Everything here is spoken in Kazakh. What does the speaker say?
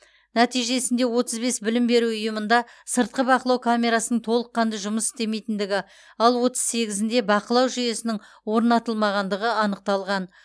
нәтижесінде отыз бес білім беру ұйымында сыртқы бақылау камерасының толыққанды жұмыс істемейтіндігі ал отыз сегізінде бақылау жүйесінің орнатылмағандығы анықталған